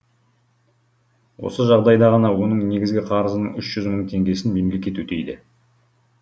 осы жағдайда ғана оның негізгі қарызының үш жүз мың теңгесін мемлекет өтейді